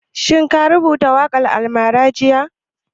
Shin ka rubuta waƙan almara jiya?